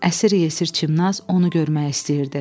Əsir-yesir Çimnaz onu görmək istəyirdi.